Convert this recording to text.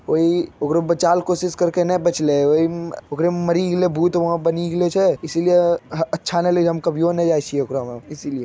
कोई ओकरो बचाल कोशिश करके नाय बचले वहीम उकेरे में मरे गइले वहाँ भूत बन गईले छे इसलिए अ अच्छा न लगे छे हम कहियो न जाइछी ओकरा में इसीलिए ।